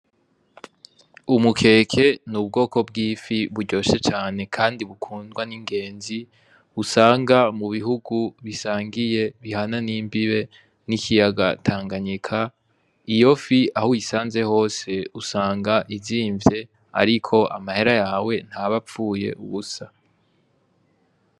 Umukeke ni ubwoko bw'ifi buryoshe cane, kandi bukundwa n'ingenzi usanga mu bihugu bisangiye bihana n'imbibe n'ikiyaga tanganyika iyo fi aho uyisanze hose usanga izimvye, ariko amahera yawe ntaba apfuye ubusa.